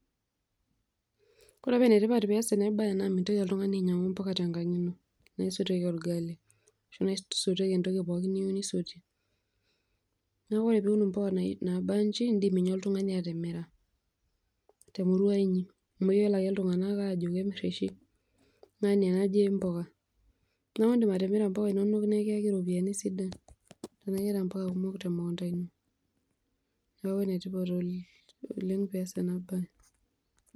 Ore pe enetipat peias enabae naa mintoki oltung'ani ainyang'u mpuka tenkang' ino ,naisotieki orgali ashu naisotieki entoki pookin niyieu nisotie ,neaku ore piun mpuka nabanji indim ninye oltung'ani atimira temurua inyi amu keyiolo oshi ltung'anak ajo kemirr oshi ng'ania naje mpuka. Neaku indim atimira mpuka inonok nikiyaki ropiyani sidan temukunda ino neaku enetipat oleng' pias enabae.